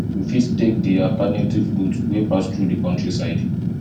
we fit take di alternative route wey pass through di countryside